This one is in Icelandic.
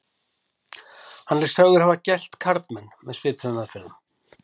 hann er sagður hafa gelt karlmenn með svipuðum aðferðum